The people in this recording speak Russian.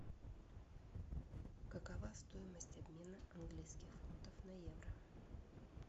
какова стоимость обмена английских фунтов на евро